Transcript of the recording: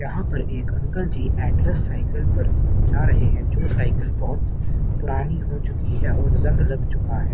यहां पर एक अंकल जी एटलस साइकल पर जा रहे हैं जो साइकल बहुत पुरानी हो चुकी है और जंग लग चुका है।